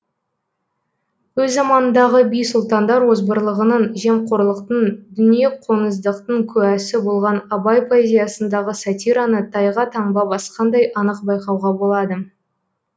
өз заманындағы би сұлтандар озбырлығының жемқорлықтың дүниеқоңыздықтың куәсі болған абай поэзиясындағы сатираны тайға таңба басқандай анық байқауға болады